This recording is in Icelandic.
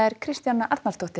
Kristjana Arnarsdóttir